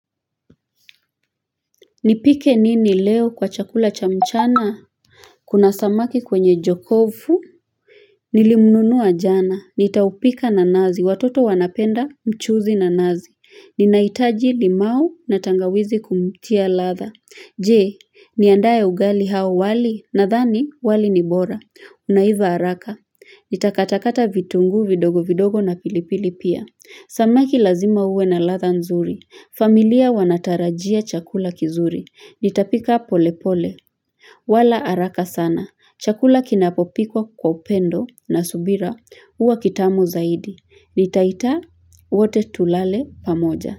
Nipike nini leo kwa chakula cha mchana kuna samaki kwenye jokofu nilimnunua jana. Nitaupika na nazi. Watoto wanapenda mchuzi na nazi. Ninahitaji limau na tangawizi kumtia ladha. Je, niandae ugali au wali nadhani wali ni bora. Unaiva haraka. Nitakatakata vitunguu vidogo vidogo na pilipili pia. Samaki lazima uwe na ladha nzuri. Familia wanatarajia chakula kizuri. Nitapika pole pole. Wala haraka sana. Chakula kinapopikwa kwa upendo na subira. Huwa kitamu zaidi. Nitaita wote tulale pamoja.